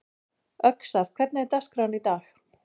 Öxar, hvernig er dagskráin í dag?